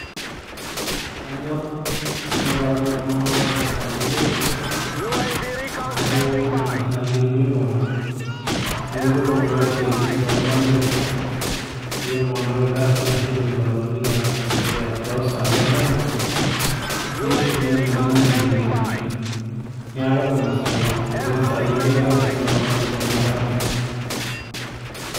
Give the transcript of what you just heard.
kanyorr naparan iltung'anak lang toosai enteipa amu nena saai etumi iltung'anak amu kepuo iltung'anak isiaitin toondamai kepuo iltung'anak irkasin ashu irkibaruani toosai endama neshukunyie nkang'itie tenemutu niaku nena sai kuna saai enteipa anyorr tenaparan ninche amu katum.